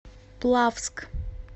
плавск